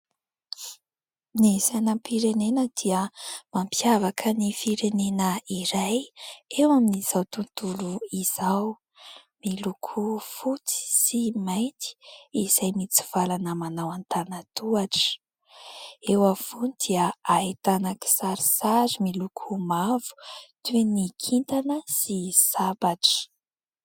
Ny sainam-pirenena dia mampiavaka ny firenena iray eo amin'izao tontolo izao. Miloko fotsy sy mainty izay mitsivalana manao an-tànan-tohatra. Eo afovoany dia ahitana kisarisary miloko mavo, toy ny : kintana sy sabatra.